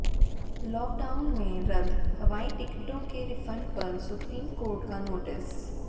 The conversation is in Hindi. लॉकडाउन में रद्द हवाई टिकटों के रिफंड पर सुप्रीम कोर्ट का नोटिस